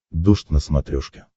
дождь на смотрешке